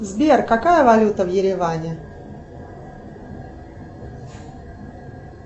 сбер какая валюта в ереване